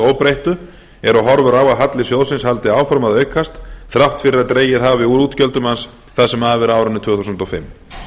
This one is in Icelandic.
óbreyttu eru horfur á að halli sjóðsins haldi áfram að aukast þrátt fyrir að dregið hafi úr útgjöldum hans það sem af er árinu tvö þúsund og fimm